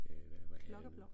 Øh hvad var det